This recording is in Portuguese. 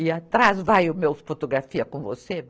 E atrás vai o meu fotografia com você?